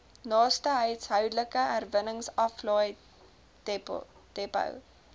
naaste huishoudelike herwinningsaflaaidepot